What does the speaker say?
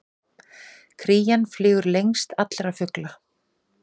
Krían flýgur lengst allra fugla!